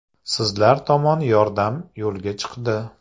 Sizlar tomon yordam yo‘lga chiqdi.